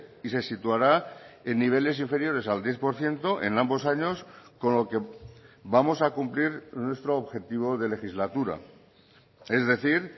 y se situará en niveles inferiores al diez por ciento en ambos años con lo que vamos a cumplir nuestro objetivo de legislatura es decir